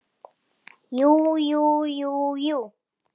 Jú jú, jú jú.